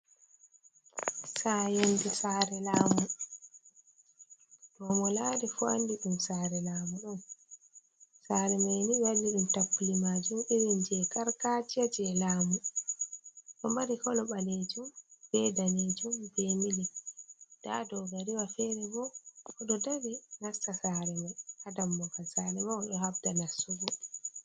Sare, yonɗe sare lamu, ɗo molarifu andi dum sare lamu. Sare maini ɓewadi dum tappule majum irin je gargajiya je lamu do mari kolo balejun, be danejun be mili. da dogariwa fere bo odo dari nasta sare mai hadamogal sare mai do habda nassugo.